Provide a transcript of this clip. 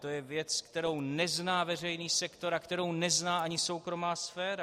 To je věc, kterou nezná veřejný sektor a kterou nezná ani soukromá sféra.